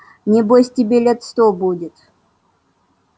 небось тебе лет сто будет